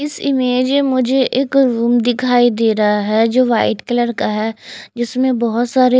इस इमेज में मुझे रूम दिखाई दे रहा है जो वाईट कलर का है जिसमे बहोत सारे--